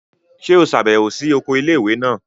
Ṣe o ṣabẹwo si oko ilé-ìwé náà?